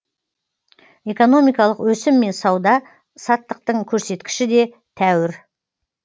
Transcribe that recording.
экономикалық өсім мен сауда саттықтың көрсеткіші де тәуір